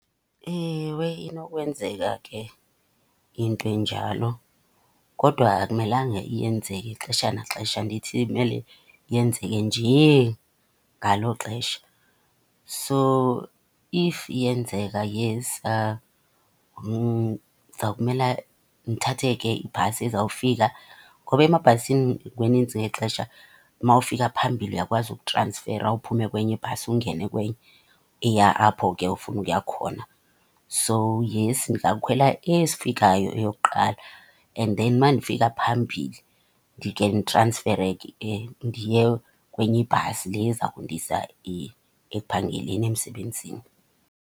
Ewe, inokwenzeka ke into enjalo. Kodwa akumelanga iyenzeke ixesha naxesha andithi imele yenzeke njee ngalo xesha. So if iyenzeka, yes, ndiza kumela ndithathe ke ibhasi ezawufika. Ngoba emabhasini kunintsi ngexesha umawufika phambili uyakwazi ukutransfera uphume kwenye ibhasi ungene kwenye eya apho ke ufuna ukuya khona. So, yes, ndingakhwela ezifikayo eyokuqala and then uma ndifika phambili ndikhe nditransfere ke ndiye kwenye ibhasi le eza kundisa ekuphangeleni, emsebenzini.